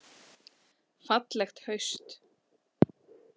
Fallegt haust.